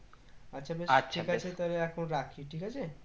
আচ্ছা বেশ ঠিক আছে তাহলে এখন রাখি ঠিক আছে।